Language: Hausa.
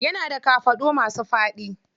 Yana da kafaɗu masu faɗi.